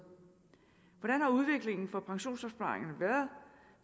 hvordan har udviklingen for pensionsopsparingerne været